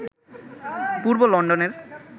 পূর্ব লন্ডনের